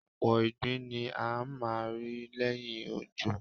Ọ̀pọ̀ ìgbín ni a máa ń rí lẹ́yìn òjò.